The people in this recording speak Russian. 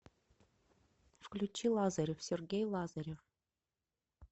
включи лазарев сергей лазарев